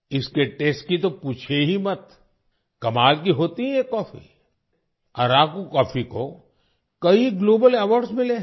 इसके तस्ते की तो पूछिए ही मत कमाल की होती है ये कॉफी अराकू कॉफी को कई ग्लोबल अवार्ड्स मिले हैं